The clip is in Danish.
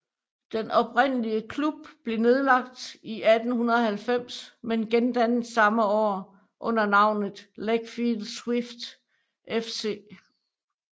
Den oprindelige klub blev nedlagt i 1890 men gendannet samme år under navnet Legfield Swifts FC